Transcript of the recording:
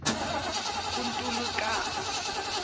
kuntulukazi